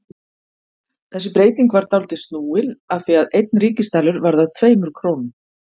Þessi breyting var dálítið snúin af því að einn ríkisdalur varð að tveimur krónum.